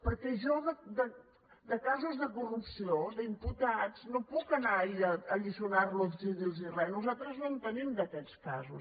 perquè jo de casos de corrupció d’imputats no puc anar a alliçonar los i dir los res nosaltres no en tenim d’aquests casos